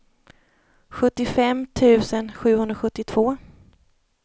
sjuttiofem tusen sjuhundrasjuttiotvå